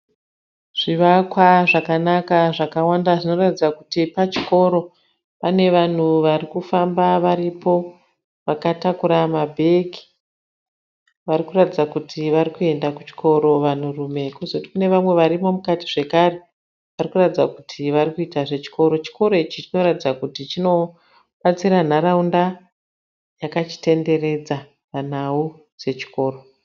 Zvivakwa zvakanaka zvakawanda zvinoratidza kuti pachikoro, pane vanhu vari kufamba varipo vakatakura mabhegi varikuratidza kuti vari kuenda kuchikoro vanhurume kozoti kune vamwe varimo mukati zvakare varikuratidza kuti vari kuita zvechikoro, chikoro ichi chinoratidza kuti chinobatsira nharaunda yakachitenderedza panhau dzechikoro.